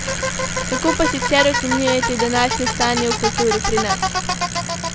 Kako pa sicer ocenjujete današnje stanje v kulturi pri nas?